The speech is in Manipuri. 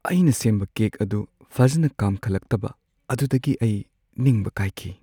ꯑꯩꯅ ꯁꯦꯝꯕ ꯀꯦꯛ ꯑꯗꯨ ꯐꯖꯅ ꯀꯥꯝꯈꯠꯂꯛꯇꯕ ꯑꯗꯨꯗꯒꯤ ꯑꯩ ꯅꯤꯡꯕ ꯀꯥꯏꯈꯤ ꯫